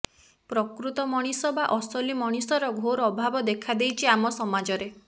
ପ୍ରକୃତ ମଣିଷ ବା ଅସଲି ମଣିଷର ଘୋର ଅଭାବ ଦେଖାଦେଇଛି ଆମ ସମାଜରେ